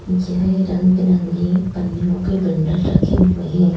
येह रंग बिरंगी पनियों के बंडल रखे हुए हैं।